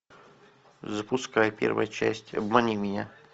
запускай первая часть обмани меня